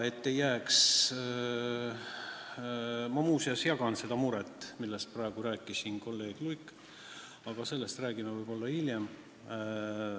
Muuseas, ma jagan seda muret, millest praegu rääkis siin kolleeg Luik, aga sellest räägime võib-olla tõesti hiljem.